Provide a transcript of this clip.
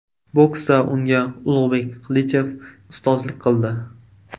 Boksda unga Ulug‘bek Qilichev ustozlik qildi.